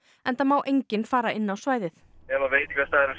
enda má enginn fara inn á svæðið ef veitingastaðurinn